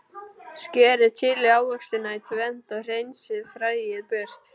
Skerið chili ávextina í tvennt og hreinsið fræið burt.